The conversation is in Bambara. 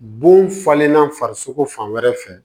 Bon falenna farisoko fan wɛrɛ fɛ